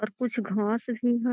और कुछ घास भी है।